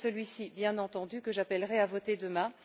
C'est celui ci, bien entendu, que j'appellerai à voter demain.